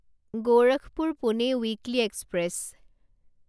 Gorakhpur Pune weekly express